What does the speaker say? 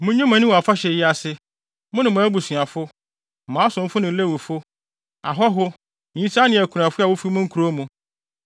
Munnye mo ani wɔ mo afahyɛ yi se; mo ne mo abusuafo, mo asomfo ne Lewifo, ahɔho, nyisaa ne akunafo a wofi mo nkurow mu.